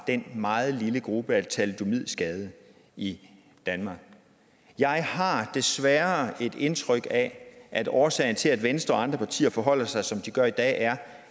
den meget lille gruppe af thalidomidskadede i danmark jeg har desværre et indtryk af at årsagen til at venstre og andre partier forholder sig som de gør i dag er